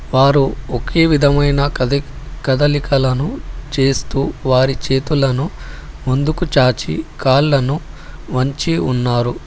వారు ఒకే విధమైన కదిక్ కదలికలను చేస్తూ వారి చేతులను ముందుకు చాచి కాళ్ళను వంచి ఉన్నారు.